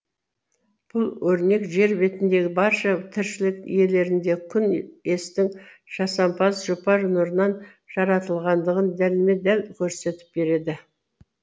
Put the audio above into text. бұл өрнек жер бетіндегі барша тіршілік иелерін де күн естің жасампаз жұпар нұрынан жаратылатындығын дәлме дәл көрсетіп береді